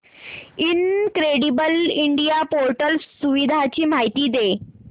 incredible India portal सुविधांची माहिती दे